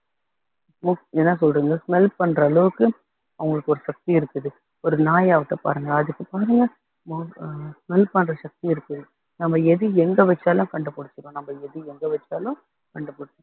என்ன என்ன சொல்றதுங்க smell பண்ற அளவுக்கு அவங்களுக்கு ஒரு சக்தி இருக்குது ஒரு நாய் ஆகட்டும் பாருங்க அதுக்கு பாருங்க sme~ smell பண்ற சக்தி இருக்கு நம்ம எது எங்க வச்சாலும் கண்டுபிடிச்சிரும் நம்ம எது எங்க வச்சாலும் கண்டுபிடிச்சிரும்